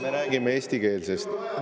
Me räägime eestikeelsest …